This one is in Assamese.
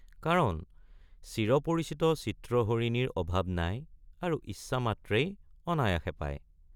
কাৰণ চিৰপৰিচিত চিত্ৰহৰিণীৰ অভাৱ নাই আৰু ইচ্ছা মাত্ৰেই অনায়াসে পায়।